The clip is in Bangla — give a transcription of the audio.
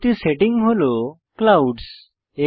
পরবর্তী সেটিং হল ক্লাউডস